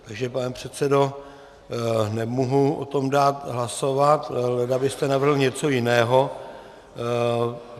Takže pane předsedo, nemohu o tom dát hlasovat, leda byste navrhl něco jiného.